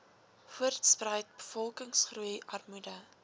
voortspruit bevolkingsgroei armoede